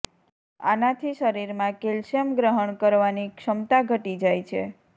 આનાથી શરીરમાં કેલ્શિયમ ગ્રહણ કરવાની ક્ષમતા ઘટી જાય છે